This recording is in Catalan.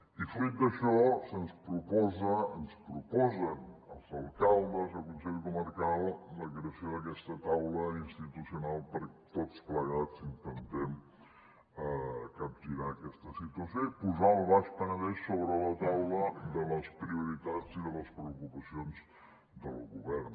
i fruit d’això se’ns proposa ens proposen els alcaldes i el consell comarcal la creació d’aquesta taula institucional perquè tots plegats intentem capgirar aquesta situació i posar el baix penedès sobre la taula de les prioritats i de les preocupacions del govern